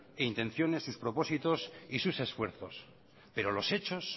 intenciones sus propósitos y sus esfuerzos pero los hechos